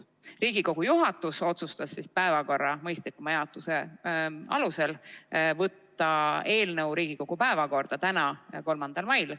Riigikogu juhatus otsustas päevakorra mõistlikuma jaotuse huvides võtta eelnõu Riigikogu päevakorda täna, 3. mail.